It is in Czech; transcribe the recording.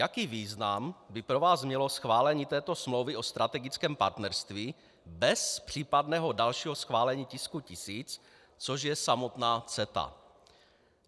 Jaký význam by pro vás mělo schválení této smlouvy o strategickém partnerství bez případného dalšího schválení tisku 1000, což je samotná CETA?